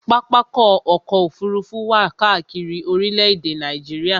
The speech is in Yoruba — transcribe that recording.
Pápákọ̀ ọ̀kọ òfurufú wà káàkiri orílẹ̀-èdè Nàìjíríà